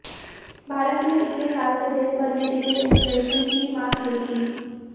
भारत ने पिछले साल से देश भर में रीटेल इन्फ्लेशन की माप शुरू की